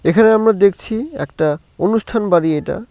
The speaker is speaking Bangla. এখানে আমরা দেখছি একটা অনুষ্ঠান বাড়ি এটা।